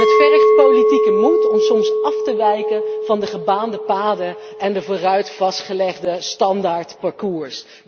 Het vergt politieke moed om soms af te wijken van de gebaande paden en het vooraf vastgelegde standaardparcours.